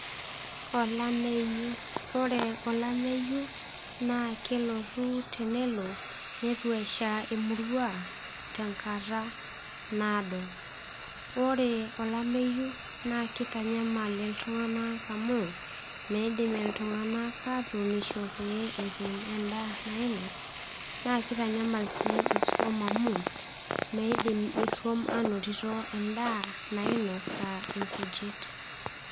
olameyu ore, olaeyu naa kelotu, nelo neitu esha emurua tenkata naado. ore olameyu, naa kitanyamal iltunganak amu, miidim iltunganak aatunisho pee etum daa nianos, naa kitanyamal sii iisuam amu meidim isuama anotito edaa nainos, aa nkujit.